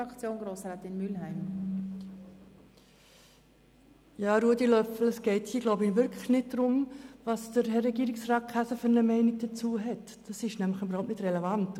Es geht nicht darum, welche Meinung Regierungsrat Käser zum Thema hat, das ist nicht relevant.